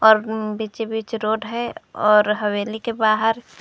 बीचे बीच रोड है और हवेली के बाहर--